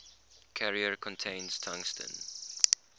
carrier contains tungsten